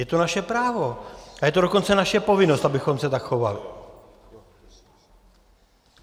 Je to naše právo a je to dokonce naše povinnost, abychom se tak chovali.